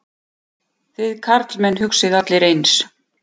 Þið karlmenn hugsið allir eins.